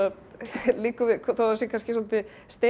liggur við þó það sé kannski svolítið